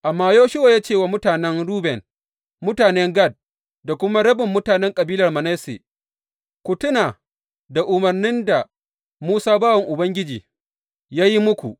Amma Yoshuwa ya ce wa mutanen Ruben, mutanen Gad da kuma rabin mutanen kabilar Manasse, Ku tuna da umarnin da Musa bawan Ubangiji ya yi muku.